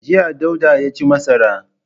Jiya Dauda ya ci masara.